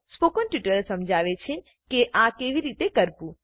spoken tutorial સમજાવે છે કે આ કેવી રીતે કરવું